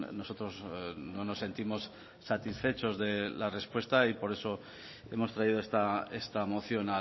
nosotros no nos sentimos satisfechos de la respuesta y por eso hemos traído esta moción